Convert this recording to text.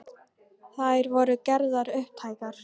Þá má nefna hin hefðbundnu Kötlugos.